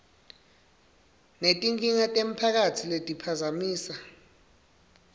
netinkinga temphakatsi letiphazamisa